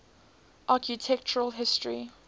architectural history